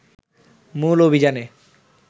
মূল অভিযানে